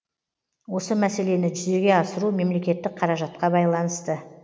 осы мәселені жүзеге асыру мемлекеттік қаражатқа байланысты